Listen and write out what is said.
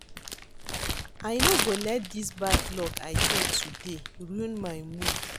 I no go let dis bad luck I get today ruin my mood